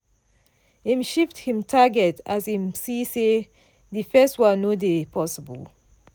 im shift him target as im see say di first one no dey possible.